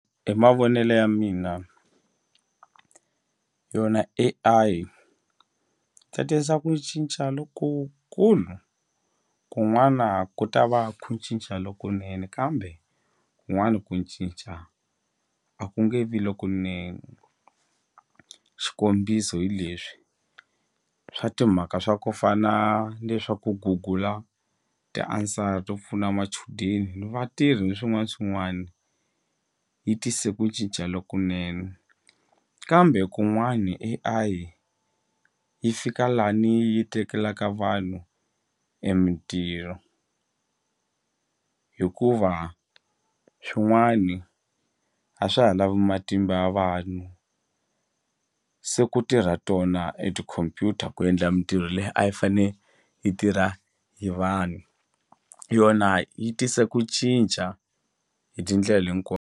Hi mavonelo ya mina yona A_I ta tisa ku cinca lokukulu kun'wana ku ta va ku cinca lokunene kambe kun'wana ku cinca a ku nge vi lokunene xikombiso hi leswi swa timhaka swa ku fana ni le swa ku gugula ti-answer to pfuna machudeni ni vatirhi ni swin'wana na swin'wani yi tise ku cinca lokunene kambe kun'wani A_I yi fika lani yi tekelaka vanhu e mintirho hikuva swin'wana a swa ha lavi matimba ya vanhu se ku tirha tona e tikhompyuta ku endla mintirho leyi a yi fane yi tirha hi vanhu yona yi tise ku cinca hi tindlela .